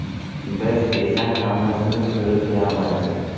Biz esa hammasini ko‘rib turamiz.